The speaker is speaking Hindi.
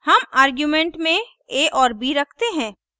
हम आर्गुमेंट में a और b रखते हैं